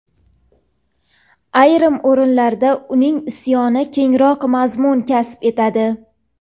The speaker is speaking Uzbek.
ayrim o‘rinlarda uning isyoni kengroq mazmun kasb etadi.